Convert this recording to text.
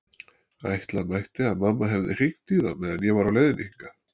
Ætla mætti að mamma hefði hringt í þá meðan ég var á leiðinni hingað.